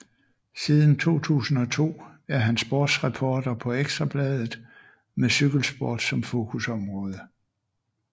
Siden 2002 er han sportsreporter på Ekstra Bladet med cykelsport som fokusområde